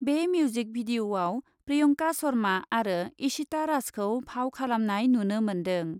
बे मिउजिक भिडिअ'आव प्रियंका शर्मा आरो इशिता राजखौ फाव खालामनाय नुनो मोन्दों।